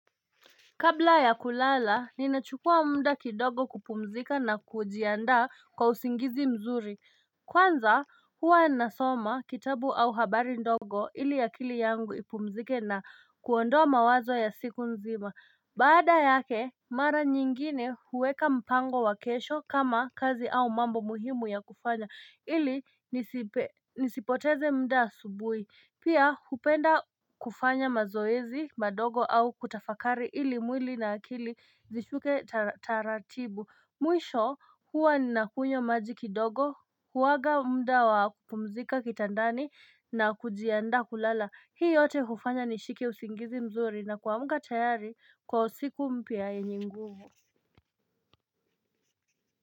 Kabla ya kulala, ninachukua mda kidogo kupumzika na kujiandaa kwa usingizi mzuri. Kwanza huwa nasoma kitabu au habari ndogo ili akili yangu ipumzike na kuondoa mawazo ya siku nzima. Baada yake, mara nyingine huweka mpango wa kesho kama kazi au mambo muhimu ya kufanya ili nisipoteze mda asubui. Pia hupenda kufanya mazoezi, madogo au kutafakari ili mwili na akili zishuke taratibu Mwisho huwa ninakunywa maji kidogo, huwaga mda wa kupumzika kitandani na kujiandaa kulala Hii yote hufanya nishike usingizi mzuri na kuamka tayari kwa siku mpya yenye nguvu.